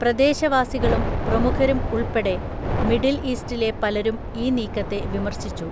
പ്രദേശവാസികളും പ്രമുഖരും ഉൾപ്പെടെ മിഡിൽ ഈസ്റ്റിലെ പലരും ഈ നീക്കത്തെ വിമർശിച്ചു.